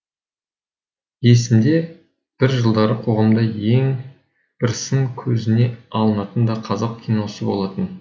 есімде бір жылдары қоғамда ең бір сын көзіне алынатын да қазақ киносы болатын